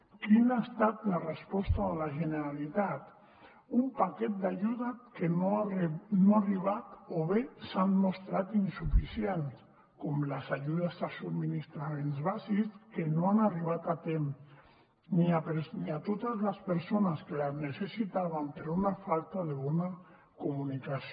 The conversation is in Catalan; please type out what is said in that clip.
quina ha estat la resposta de la generalitat un paquet d’ajudes que no han arribat o bé s’han mostrat insuficients com les ajudes a subministraments bàsics que no han arribat a temps ni a totes les persones que la necessitaven per una falta de bona comunicació